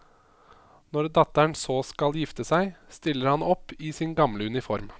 Når datteren så skal gifte seg, stiller han opp i sin gamle uniform.